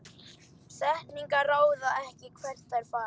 Setningar ráða ekki hvert þær fara.